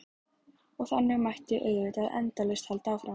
Og þannig mætti auðvitað endalaust halda áfram.